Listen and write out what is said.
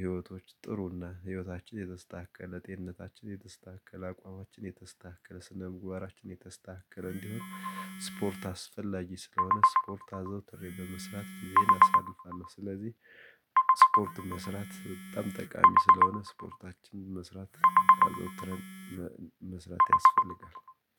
ህይወቶች ጥሩና ህይወታችን የተስተካከለ ጤንነታችን የተስተካከለ አቋማችን የተስተካከለ ስነ ምግባራችን የተስተካከለ እንዲሆን ስፖርት አስፈላጊ ስለሆነ ስፖርት አዘውትሬ በመስራት ጊዜን አሳልፋለሁ። ስለዚህ ስፖርት መስራት በጣም ጠቃሚ ስለሆነ ስፖርታችን መስራት አዘውትረን መስራት ያስፈልጋል።